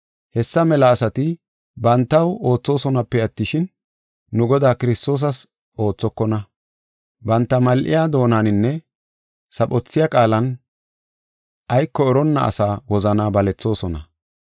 Hessa mela asati bantaw oothosonape attishin, nu Godaa Kiristoosas oothokona. Banta mal7iya doonaninne saphothiya qaalan ayko eronna asaa wozanaa balethoosona.